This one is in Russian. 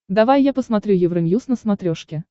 давай я посмотрю евроньюз на смотрешке